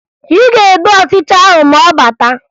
Ị ga-egbu ọchịcha ahụ ma ọ bata